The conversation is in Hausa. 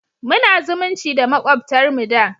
Muna zumunci da makwabtar mu da